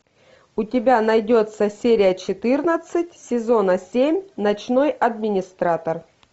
у тебя найдется серия четырнадцать сезона семь ночной администратор